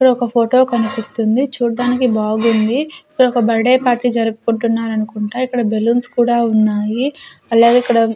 ఇక్కడ ఒక ఫోటో కనిపిస్తుంది చూడ్డానికి బాగుంది ఇక్కడ ఒక బర్ట్ డే పార్టీ జరుపుకుంటున్నారు అనుకుంటా ఇక్కడ బెలూన్స్ కూడా ఉన్నాయి అలాగే ఇక్కడ.